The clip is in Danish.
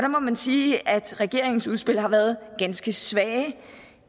må man sige at regeringens udspil har været ganske svage